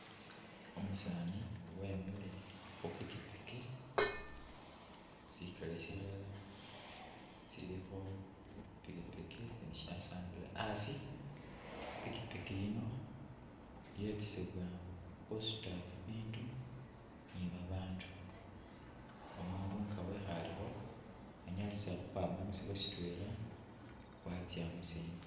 Umusani wemile khu pikipiki, sikele silala sili khu pikipiki isindi shasambile asi I'pikipiki yino iyetesebwa khusuta bibindu ni babandu umundu nga wekhalekho anyalise khukhwama musifo sitwela watsya musindi